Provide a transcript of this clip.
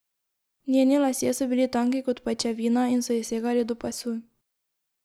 Njeni lasje so bili tanki kot pajčevina in so ji segali do pasu.